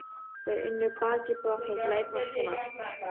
Þau unnu baki brotnu til að eignast hana.